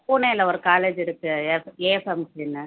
புனேல ஒரு college இருக்கு